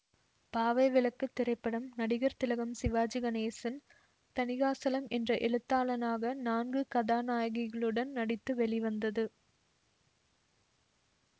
பாவை விளக்கு திரைப்படம் நடிகர் திலகம் சிவாஜி கணேசன் தணிகாசலம் என்ற எழுத்தாளனாக நான்கு கதாநாயகிகளுடன் நடித்து வெளிவந்தது